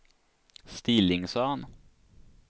Stillingsön